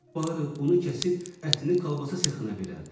Barı bunu kəsib ətini kolbasa sexinə verərdi.